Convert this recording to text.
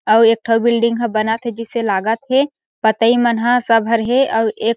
और एकठो बिल्डिंग है जो बनत है जैसे लागथ है पतइ मनह सब हरिहे आउ एक --